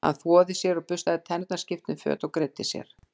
Hann þvoði sér og burstaði tennurnar, skipti um föt og greiddi sér.